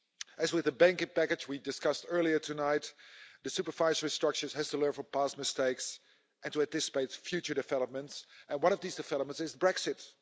As with the banking package we discussed earlier tonight, the supervisory structures have to learn from past mistakes and to anticipate future developments, and one of these developments is Brexit.